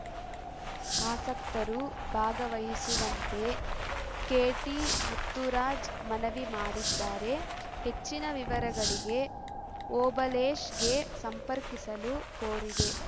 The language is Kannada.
ಆಸಕ್ತರು ಭಾಗವಹಿಸುವಂತೆ ಕೆಟಿಮುತ್ತುರಾಜ್‌ ಮನವಿ ಮಾಡಿದ್ಧಾರೆ ಹೆಚ್ಚಿನ ವಿವರಗಳಿಗೆ ಓಬಳೇಶ್‌ ಗೆ ಸಂಪರ್ಕಿಸಲು ಕೋರಿದೆ